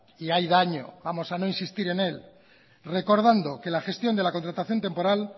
y hay daño vamos a no insistir en él recordando que la gestión de la contratación temporal